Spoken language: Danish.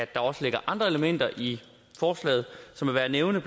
der også ligger andre elementer i forslaget som er værd at nævne